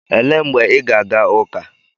Elee mgbe ị ga-aga ụka?